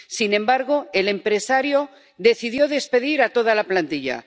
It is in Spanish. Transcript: Sin embargo, el empresario decidió despedir a toda la plantilla.